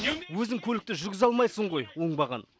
өзің көлікті жүргізе алмайсың ғой оңбаған